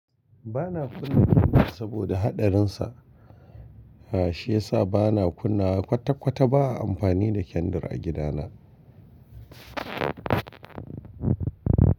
Ba na kunna kendir saboda haɗarinsa, shi yasa ba na kunna kwata-kwata ba a amfani da kendir a gida na.